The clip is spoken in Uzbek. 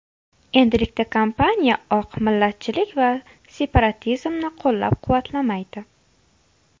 Endilikda kompaniya oq millatchilik va separatizmni qo‘llab-quvvatlamaydi.